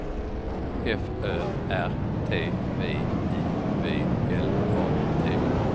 F Ö R T V I V L A T